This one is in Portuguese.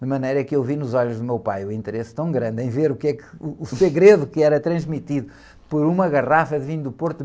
De maneira que eu vi nos olhos do meu pai o interesse tão grande em ver o que, uh, o segredo que era transmitido por uma garrafa de vinho do Porto...